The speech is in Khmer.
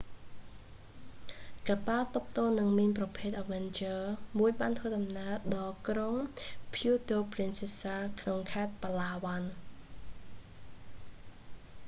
កប៉ាល់ទប់ទល់នឹងមីនប្រភេទអឹវែនជើរ avenger មួយបានធ្វើដំណើរដល់ក្រុងពូអឺតូ ព្រីនសា puerto princesa ក្នុងខេត្ត ប៉ាឡាវ៉ាន់ palawan